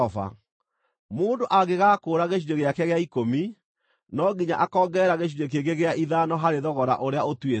Mũndũ angĩgakũũra gĩcunjĩ gĩake gĩa ikũmi, no nginya akongerera gĩcunjĩ kĩngĩ gĩa ithano harĩ thogora ũrĩa ũtuĩtwo.